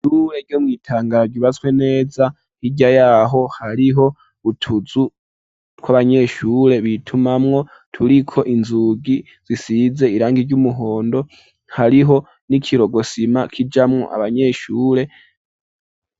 Ishure ryo mw,iitangaro ry ubatswe neza hirya yaho hariho utuzu tw'abanyeshure bitumamwo turiko inzugi zisize irangi ry'umuhondo hariho n'ikirokosima k'ijamwo abanyeshure